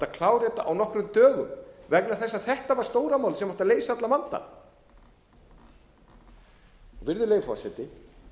klára þetta á nokkrum dögum vegna þess að þetta var stóra málið sem átti að leysa allan vandann virðulegi forseti